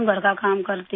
گھر کا کام کرتی ہوں